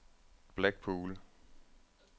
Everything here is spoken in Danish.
Blackpool